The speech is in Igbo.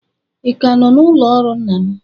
Ị ka nọ n'ụlọ ọrụ nna m?